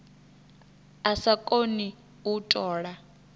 a sa koni u tola